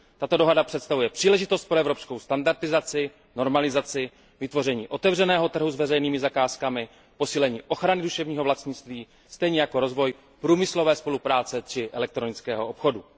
Tato dohoda představuje příležitost pro evropskou standardizaci, normalizaci, vytvoření otevřeného trhu s veřejnými zakázkami, posílení ochrany duševního vlastnictví stejně jako rozvoj průmyslové spolupráce či elektronického obchodu.